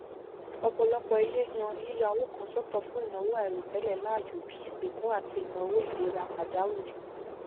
ọpọlọpọ ilé yan yíya owó kan sọtọ fún ìnáwó àìròtẹlẹ láàyò bí i ìsìnkú àti ìnáwó ìlera pàjáwìrì